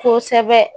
Kosɛbɛ